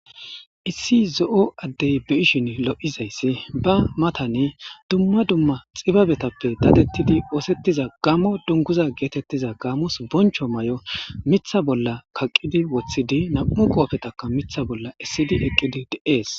Issi zo'o addey be ishin lo'izayssi ba matani dumma dumma xibabetappe dadettidi oosettiza gamo dunguza geetettiza gaamos boncho may'o mitha bolla kaqqidi woththidi nam'u qoofetaka mitha bolla essidi eqqidi de'es..